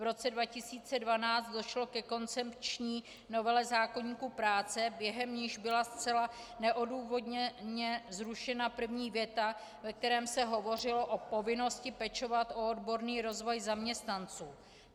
V roce 2012 došlo ke koncepční novele zákoníku práce, během níž byla zcela neodůvodněně zrušena první věta, ve které se hovořilo o povinnosti pečovat o odborný rozvoj zaměstnanců.